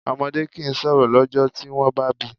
Ọmọdé kìí sọ̀rọ̀ lọ́jọ́ tí wọ́n bá bíi.